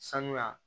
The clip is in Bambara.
Sanuya